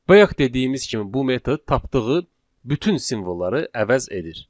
Bayaq dediyimiz kimi, bu metod tapdığı bütün simvolları əvəz edir.